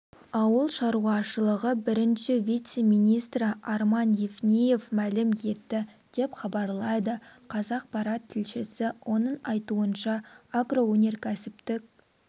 ауыл шаруашылығы бірінші вице-министрі арман евниев мәлім етті деп хабарлайды қазақпарат тілшісі оның айтуынша агроөнеркәсіптік